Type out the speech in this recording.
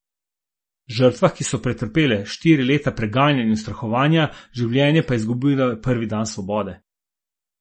Žrtvah, ki so pretrpele štiri leta preganjanja in ustrahovanja, življenje pa izgubile prvi dan svobode.